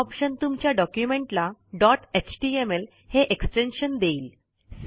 हा ऑप्शन तुमच्या डॉक्युमेंटला डॉट एचटीएमएल हे एक्सटेन्शन देईल